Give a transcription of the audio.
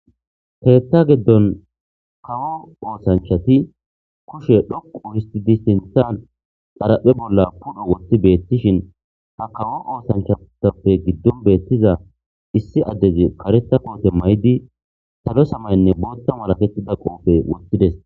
Heetta geddon kawo oosanchati kushe dhoqu histi distinthan xaraphe bolla pudho woththi beettishin ha kawo oosanchatappe giddon beettiza issi addezi kareta koote may7di salo samaynne bootta malakettida qoopfe woththides.